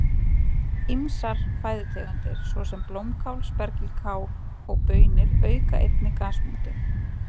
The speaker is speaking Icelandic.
Ýmsar fæðutegundir svo sem blómkál, spergilkál og baunir auka einnig gasmyndun.